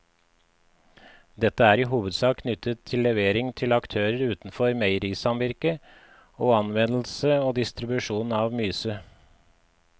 Dette er i hovedsak knyttet til levering til aktører utenfor meierisamvirket og anvendelse og distribusjon av myse.